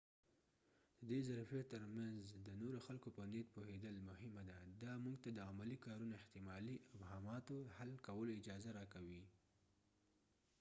د دی ظرفیت ترمینځ د نورو خلکو په نیت پوهیدل مهمه ده دا موږ ته د عملي کارونو احتمالي ابهاماتو حل کولو اجازه راکوي